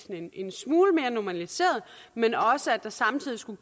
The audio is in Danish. en smule mere normaliseret men også at der samtidig skulle